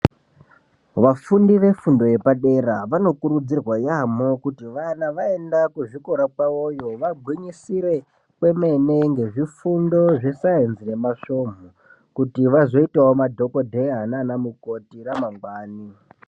Vafundi vefundo yepadera vanokuridzirwa yaamho kuti kana vaenda kuzvikora kwavoyo vagwinyisira kwemene ngezvifundo zvesainzi nemasvomu kuti vazoitawo madhokodheya naanamukoti ramangwani.